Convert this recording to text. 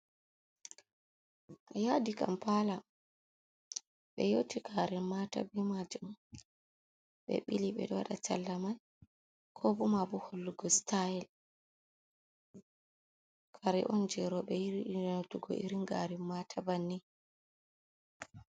Yaadi kampala ɓe nyooti garen maata be majum ɓe ɓili ɓe ɗo waɗa talla man ko bo maabo hollugo sitayel, kare on jei rooɓe yiɗi nyotugo irin garen maata bannin.